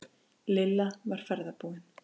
Lilla var ferðbúin.